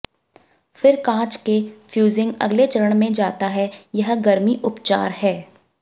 फिर कांच के फ़्यूज़िंग अगले चरण में जाता है यह गर्मी उपचार है